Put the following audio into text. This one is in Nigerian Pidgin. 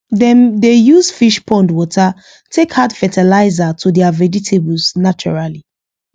dem dey use fish pond water take add fertilizer to their vegetables naturally